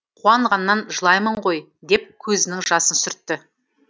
қуанғаннан жылаймын ғой деп көзінің жасын сүртті